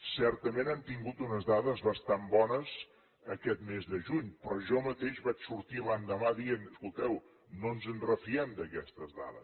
certament hem tingut unes dades bastant bones aquest mes de juny però jo mateix vaig sortir l’endemà dient escolteu no ens en refiem d’aquestes dades